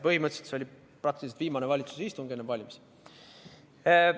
Põhimõtteliselt see oli praktiliselt viimane valitsuse istung enne valimisi.